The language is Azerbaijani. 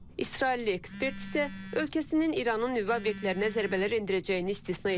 İsrailli ekspert isə ölkəsinin İranın nüvə obyektlərinə zərbələr endirəcəyini istisna etmir.